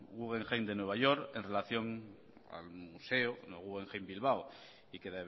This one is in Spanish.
guggenheim de nueva york en relación al museo guggenheim bilbao y que